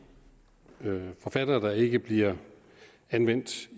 forfattere der ikke bliver anvendt